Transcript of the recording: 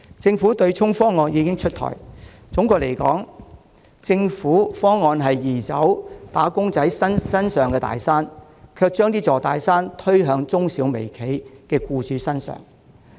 政府取消對沖機制的方案已經出台，總的來說，政府方案移走了"打工仔"身上的大山，卻把這座大山推給中小微企的僱主。